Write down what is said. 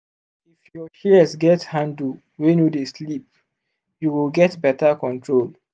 if your shears get handle wey no dey slip you go get better control.